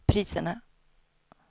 priserna